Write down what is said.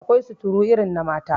Akwai suturu irin na mata